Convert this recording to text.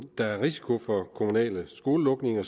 der er risiko for kommunale skolelukninger